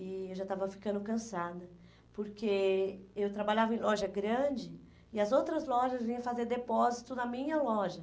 E eu já estava ficando cansada, porque eu trabalhava em loja grande e as outras lojas vinham fazer depósito na minha loja.